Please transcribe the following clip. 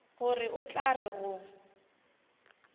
gore o tla re go